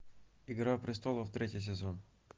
игра престолов третий сезон